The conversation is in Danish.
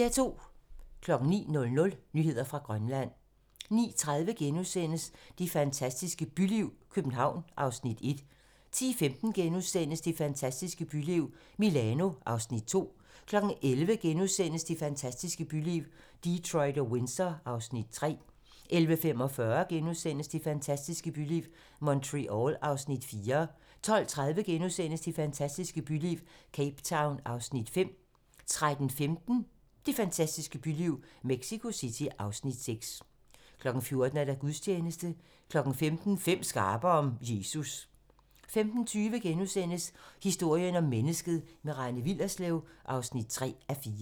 09:00: Nyheder fra Grønland 09:30: Det fantastiske byliv - København (Afs. 1)* 10:15: Det fantastiske byliv - Milano (Afs. 2)* 11:00: Det fantastiske byliv - Detroit og Windsor (Afs. 3)* 11:45: Det fantastiske byliv - Montreal (Afs. 4)* 12:30: Det fantastiske byliv - Cape Town (Afs. 5)* 13:15: Det fantastiske byliv - Mexico City (Afs. 6) 14:00: Gudstjeneste 15:00: Fem skarpe om Jesus 15:20: Historien om mennesket - med Rane Willerslev (3:4)*